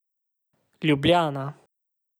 Ljubljana.